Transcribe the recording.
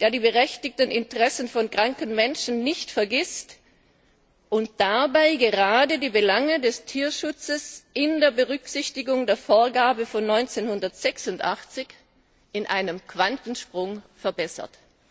der die berechtigten Interessen von kranken Menschen nicht vergisst und dabei gerade die Belange des Tierschutzes unter Berücksichtigung der Vorgabe von 1986 in einem Quantensprung verbessert.